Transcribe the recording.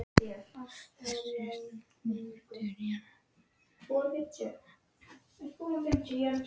Þessi stúlka kom til Ísafjarðar á mínum vegum.